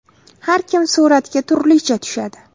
Har kim suratga turlicha tushadi.